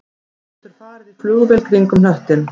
Þú getur farið í flugvél kringum hnöttinn